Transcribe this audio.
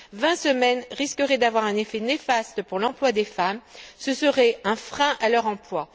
Vingt semaines risqueraient d'avoir un effet néfaste sur l'emploi des femmes, ce serait un frein à leur emploi.